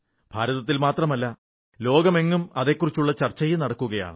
ഭാരതത്തിൽ മാത്രമല്ല ലോകമെങ്ങും അതെക്കുറിച്ചു ചർച്ചയും നടക്കുകയാണ്